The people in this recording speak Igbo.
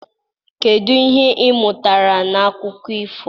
kedu ihe ị mụtara n'akụkọ ifo a?